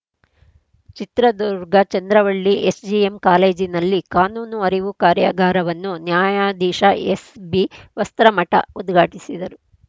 Chitradurga Chandravalli SJM ಕಾಲೇಜಿನಲ್ಲಿ ಕಾನೂನು ಅರಿವು ಕಾರ್ಯಾಗಾರವನ್ನು ನ್ಯಾಯಾಧೀಶ ಎಸ್‌ಬಿ ವಸ್ತ್ರಮಠ ಉದ್ಘಾಟಿಸಿದರು